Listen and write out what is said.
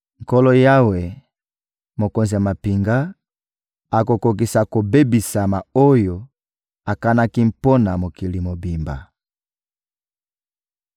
Nkolo Yawe, Mokonzi ya mampinga, akokokisa kobebisama oyo akanaki mpo na mokili mobimba.